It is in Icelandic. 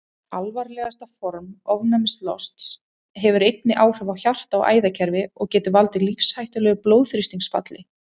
Alvarlegasta form ofnæmislosts hefur einnig áhrif á hjarta- og æðakerfi og getur valdið lífshættulegu blóðþrýstingsfalli.